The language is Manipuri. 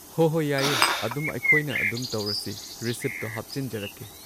ꯍꯣ ꯍꯣ ꯌꯥꯏꯌꯦ ꯑꯗꯨꯝ ꯑꯩꯈꯣꯏꯅ ꯑꯗꯨꯝ ꯇꯧꯔꯁꯤ ꯔꯤꯁꯤꯞꯇꯣ ꯍꯥꯞꯆꯤꯟꯖꯔꯛꯀꯦ꯫